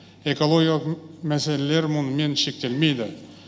экологиялық мәселелер мұнымен шектелмейді